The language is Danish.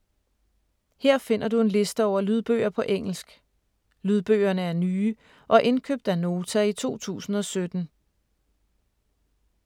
Her finder du en liste over lydbøger på engelsk. Lydbøgerne er nye og indkøbt af Nota i 2017.